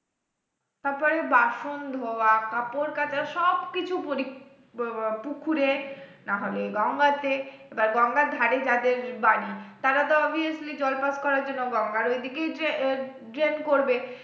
তারপরে বাসন ধোয়া কাপড় কাচা সবকিছু পুকুরে না হলে গঙ্গাতে এবার গঙ্গার ধারে যাদের বাড়ি তারা তো obviously জল pass করার জন্য গঙ্গার ওইদিকেই drain করবে